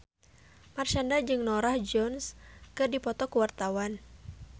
Marshanda jeung Norah Jones keur dipoto ku wartawan